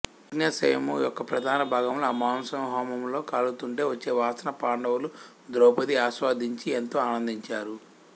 యజ్ఞాశ్వము యొక్క ప్రధాన భాగాలు ఆ మాంసము హోమములో కాలుతుంటే వచ్చే వాసనను పాండవులు ద్రౌపది ఆస్వాదించి ఎంతో ఆనందించారు